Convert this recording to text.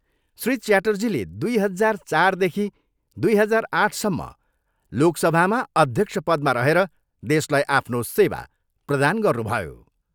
श्री च्याटर्जीले दुई हजार चारदेखि दुई हजार आठसम्म लोकसभामा अध्यक्ष पदमा रहेर देशलाई आफ्नो सेवा प्रदान गर्नुभयो।